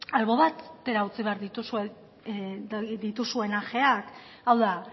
albo batera utzi behar dituzu dituzuen ajeak hau da